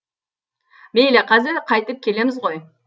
мейлі қазір қайтып келеміз ғой